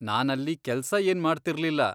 ನಾನಲ್ಲಿ ಕೆಲ್ಸ ಏನ್ ಮಾಡ್ತಿರ್ಲಿಲ್ಲ.